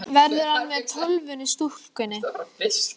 Verður hann með Tólfunni í stúkunni?